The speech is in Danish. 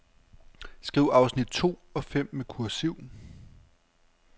Skriv afsnit to og fem med kursiv.